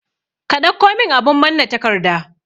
Ka ɗauko min abun manna takarda